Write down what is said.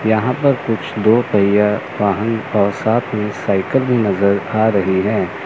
यहां पर कुछ दो पहिया वाहन और साथ में साइकल भी नजर आ रही है।